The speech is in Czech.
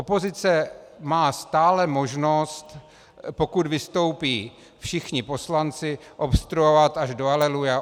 Opozice má stále možnost, pokud vystoupí všichni poslanci, obstruovat až do aleluja.